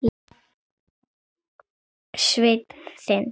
Þinn Sveinn.